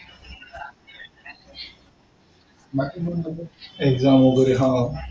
exam वगैरे हा.